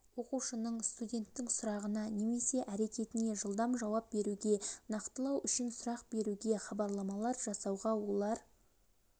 оқушының студенттің сұрағына немесе әрекетіне жылдам жауап беруге нақтылау үшін сұрақ беруге хабарламалар жасауға олар